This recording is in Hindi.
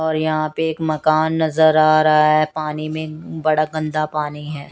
और यहां पे एक मकान नजर आ रहा है पानी मे बड़ा गंदा पानी है।